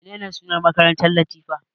Menene sunan makarantar Latifa?